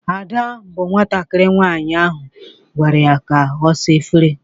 Ada bụ nwatakiri nwaanyị ahụ agwara ka ọ sa efere.